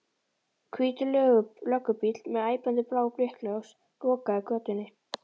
Hvítur löggubíll með æpandi blá blikkljós lokaði götunni.